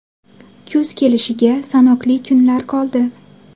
Kuz kelishiga sanoqli kunlar qoldi.